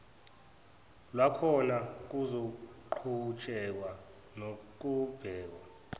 lwakhona kuzoqhutshekwa nokubheka